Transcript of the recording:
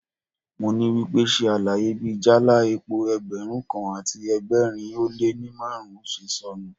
Mo ní wípé, ṣe àlàyé bí jáálá epo Ẹgbẹ̀rún kan àti ẹgbẹ̀rin ó lé ní márùn-ún ṣe sọnù.